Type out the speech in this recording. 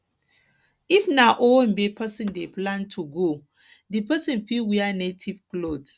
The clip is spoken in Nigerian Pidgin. if na owambe person dey plan to go di person fit wear native cloth